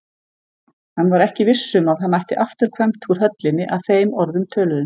Hann var ekki viss um að hann ætti afturkvæmt úr höllinni að þeim orðum töluðum.